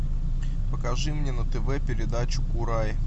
покажи мне на тв передачу курай